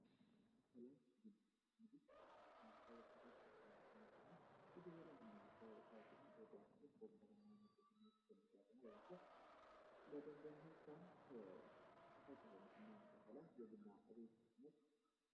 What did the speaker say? ሰዎች ከሚዝናኑባቸው ቦታዎች ውስጥ ባር እና ሬስቶራንት ናቸው። እስኪ እናንተ ከምታውቋቸው ውስጥ ሶስቱን ጥቀሱ?